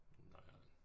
Noieren